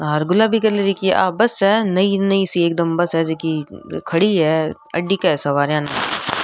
हार गुलाबी कलर की आ बस है नई नई सी एकदम बस है जीकी खड़ी है अड्डीक सवारियां न।